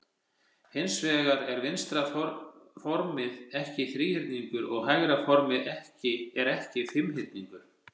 Hins vegar er vinstra formið ekki þríhyrningur og hægra formið er ekki fimmhyrningur.